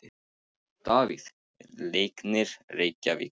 Davíð: Leiknir Reykjavík